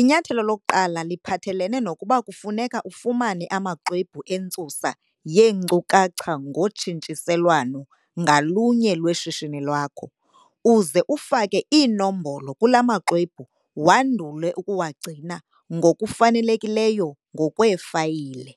Inyathelo lokuqala liphathelene nokuba kufuneka ufumane amaxwebhu entsusa yeenkcukacha ngotshintshiselwano ngalunye lweshishini lakho, uze ufake iinombolo kula maxwebhu wandule ukuwagcina ngokufanelekileyo ngokweefayile.